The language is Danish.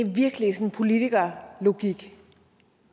der